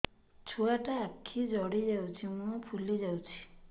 ଛୁଆଟା ଆଖି ଜଡ଼ି ଯାଉଛି ମୁହଁ ଫୁଲି ଯାଉଛି